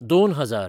दोन हजार